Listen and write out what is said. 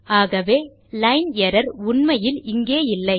ஆகவே line error உண்மையில் இங்கேயில்லை